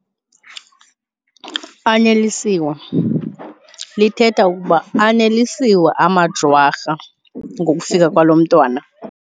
Anelisiwe, lithetha ukuba Anelisiwe amaJwarha ngokufika kwalo mntwana.